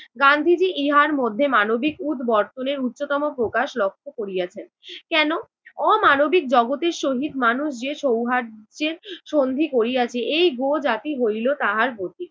গান্ধীজি ইহার মধ্যে মানবিক উদবর্তন এর উচ্চতম প্রকাশ লক্ষ্য করিয়েছেন। কেন? অমানবিক জগতের সহিত মানুষ যে সৌহার্দ্যের সন্ধি করিয়াছে এই গো জাতি হইল তাহার প্রতীক।